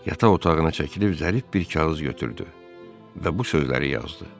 Yataq otağına çəkilib zərif bir kağız götürdü və bu sözləri yazdı: